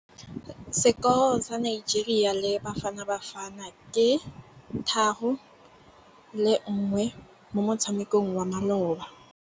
Sekôrô sa Nigeria le Bafanabafana ke 3-1 mo motshamekong wa malôba.